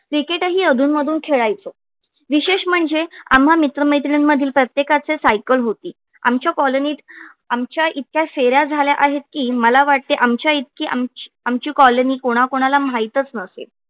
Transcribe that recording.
cricket ही अधून मधून खेळायचो विशेष म्हणजे आम्हा मित्र मैत्रिणीं मधील प्रत्येकाचे cycle होती आमच्या colony आमच्या इतक्या फेऱ्या झाल्या आहेत की मला वाटते आमच्या इतकी आमची आमची colony कोणा कोणा ला माहीतच नसेल.